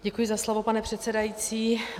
Děkuji za slovo, pane předsedající.